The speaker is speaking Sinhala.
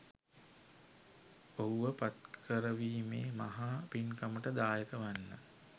ඔහුව පත්කරවීමේ මහා පින්කමට දායක වන්න.